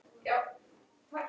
Þú ert góður!